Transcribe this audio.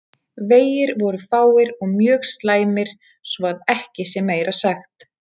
Vegir voru fáir og mjög slæmir svo að ekki sé meira sagt.